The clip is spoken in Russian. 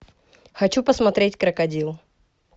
хочу посмотреть крокодил